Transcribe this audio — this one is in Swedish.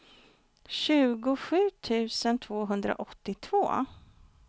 tjugosju tusen tvåhundraåttiotvå